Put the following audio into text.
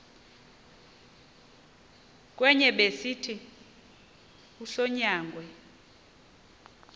kwenye besithi usonyangwe